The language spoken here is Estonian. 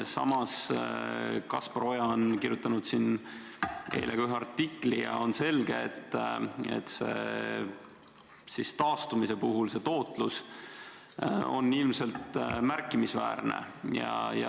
Samas on Kaspar Oja kirjutanud oma eile avaldatud artiklis, et taastumise puhul see tootlus on ilmselt märkimisväärne.